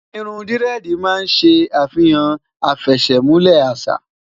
irún diredi má n se afihan afesemule àṣà